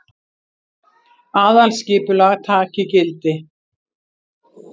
Aðalskipulag taki gildi